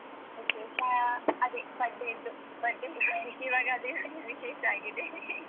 ವಿಶೇಷ, ಅದೇ birthday ದ್ದು. birthday ಈವಾಗ ಅದೇ ತಾನೆ ವಿಶೇಷ ಆಗಿದೆ .